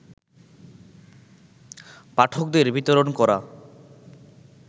পাঠকদের বিতরণ করা